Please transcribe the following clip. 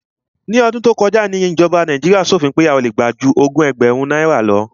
Ní ọdún tó kọjá ni ìjọba Nàíjíríà ṣòfin pé a ò le gbà ju ẹgbẹ̀rún ogún náírà lọ.